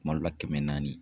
Kuma dɔ la kɛmɛ naani.